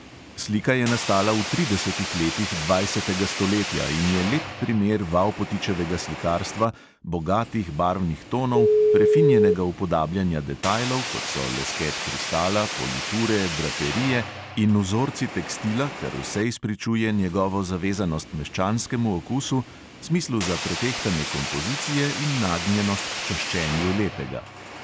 Slika je nastala v tridesetih letih dvajsetega stoletja in je lep primer vavpotičevega slikarstva bogatih barvnih tonov, prefinjenega upodabljanja detajlov, kot so lesket kristala, politure, draperije in vzorci tekstila, kar vse izpričuje njegovo zavezanost meščanskemu okusu, smislu za pretehtane kompozicije in nagnjenost k čaščenju lepega.